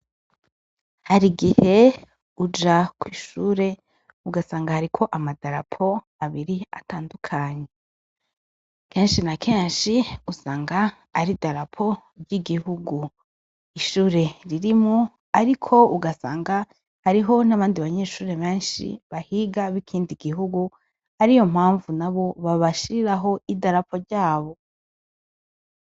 Hari igihe uja kw'ishure ugasanga hariko amadarapo abiri atandukanye kenshi na kenshi gusanga ari darapo ry'igihugu ishure ririmwo, ariko ugasanga hariho n'abandi banyeshure menshi bahiga bikindi gihugu ari yo mpamvu na bobabashiriraho idarapo ryabo.